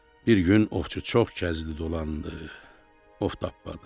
Bir gün ovçu çox gəzdi dolandı, ov tapmadı.